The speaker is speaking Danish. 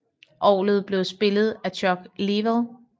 Orgelet blev spillet af Chuck Leavell